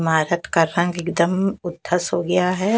इमारत का रंग एकदम उद्धस हो गया है ।